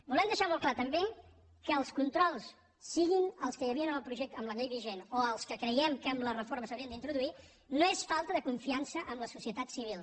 volem deixar molt clar també que els controls siguin els que hi havia amb la llei vigent o els que creiem que amb la reforma s’haurien d’introduir no són per falta de confiança en la societat civil